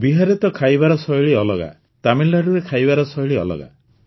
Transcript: ବିହାରରେ ତ ଖାଇବାର ଶୈଳୀ ଅଲଗା ତାମିଲନାଡୁରେ ଖାଇବା ଶୈଳୀ ଅଲଗା